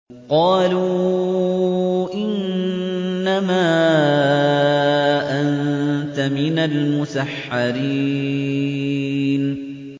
قَالُوا إِنَّمَا أَنتَ مِنَ الْمُسَحَّرِينَ